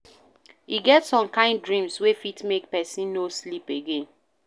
E get some kain dreams wey fit make pesin no sleep again.